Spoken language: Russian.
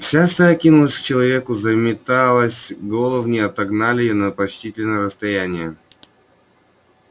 вся стая кинулась к человеку заметалась головни отогнали на почтительное расстояние